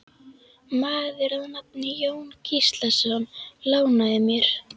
Maður að nafni Jón Gíslason lánaði mér.